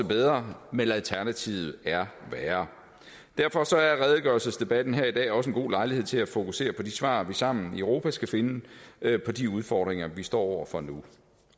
bedre men alternativet er værre derfor er redegørelsesdebatten her i dag også en god lejlighed til at fokusere på de svar vi sammen i europa skal finde på de udfordringer vi står over for nu